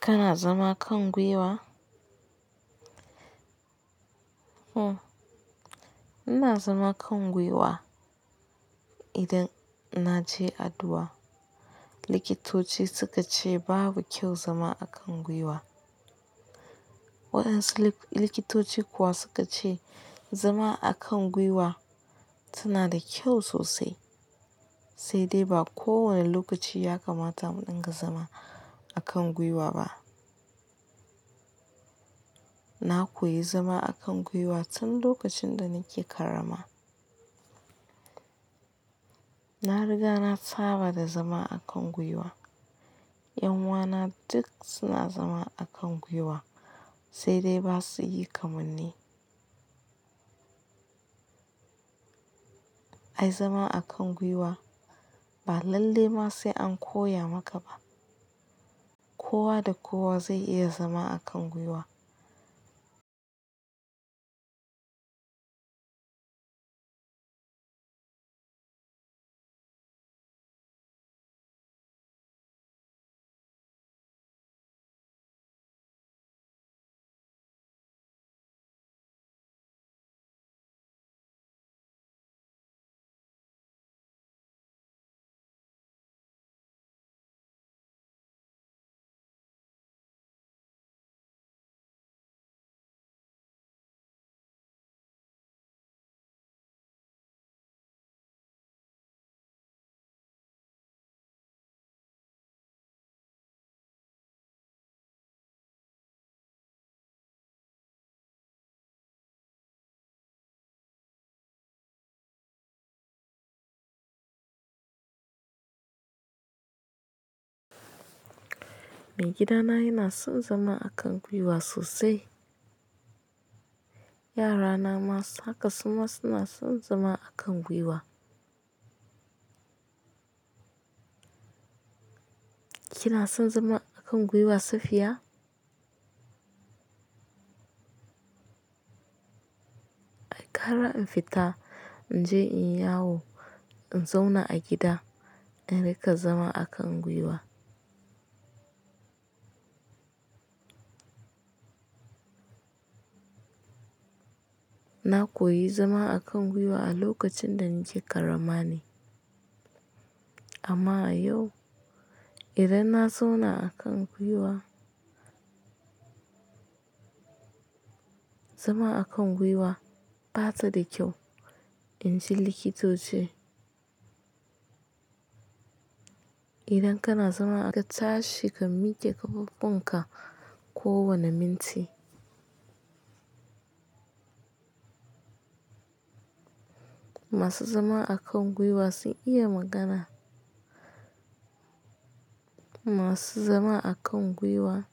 Kana zama kan gwiwa? Hmm, ina zama a kan gwiwa idan naje addu'a. Likitoci su ka ce babu kyau zama a kan gwiwa. Waɗansu likitoci kuwa su ka ce zama a kan gwiwa suna da kyau sosai, sai dai ba kowane lokaci ya kamata mu ɗinga zama a kan gwiwa ba. Na koyi zama a kan gwiwa tun lokacin da nake karama. Na riga na tsaba da zama a kan gwiwa. Ƴan uwana duk suna zama a kan gwiwa sai dai ba su yi kaman ni. Ai zama a kan gwiwa ba lalle ma sai an koya maka ba. Kowa da kowa zai iya zama a kan gwiwa. Mai gida na yana son zama a kan gwiwa sosai. Yara na ma haka suma suna son zama a kan gwiwa. Kina son zama a kan gwiwa Safiya? Ai, ƙara in fita, in je inyi yawo, in zauna a gida, in riƙa zama a kan gwiwa. Na koyi zama a kan gwiwa a lokacin da nake karama ne, amma yau idan na zauna a kan gwiwa. Zama a kan gwiwa bata da kyau in ji likitoci. Idan kana zama ka tashi ka miƙe ƙafafunka kowane minti. Masu zama a kan gwiwa sun iya magana. Masu zama a kan gwiwa